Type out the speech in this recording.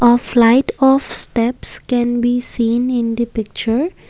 a flight of steps can be seen in the picture.